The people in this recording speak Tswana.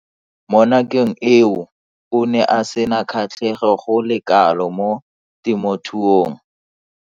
Mo nakong eo o ne a sena kgatlhego go le kalo mo temothuong.